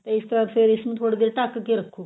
ਤੇ ਇਸ ਤੋਂ ਬਾਅਦ ਫਿਰ ਇਸਨੂੰ ਥੋੜੀ ਦੇਰ ਢਕ ਕੇ ਰੱਖੋ